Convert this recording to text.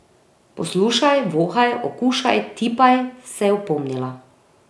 Poslušaj, vohaj, okušaj, tipaj, se je opomnila.